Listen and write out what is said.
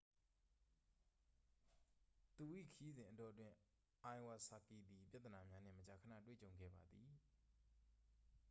သူ၏ခရီးစဉ်အတောအတွင်း အိုင်ဝစာကီ သည် ပြဿနာများနှင့် မကြာခဏတွေ့ကြုံခဲ့ပါသည်